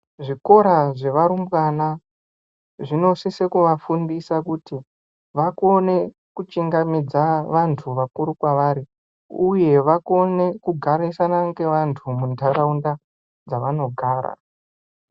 Zvikora zvevarumbwana zvinosise kuvafundise kuti vakone kuchingamidza vantu vakuru kwavari, uye vakone kugarisana ngevantu muntaraunda dzavanogara.